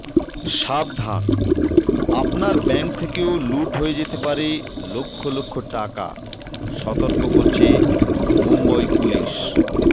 সাবধান আপনার ব্যাংক থেকেও লুঠ হয়ে যেতে পারে লক্ষ লক্ষ টাকা সতর্ক করছে মুম্বই পুলিশ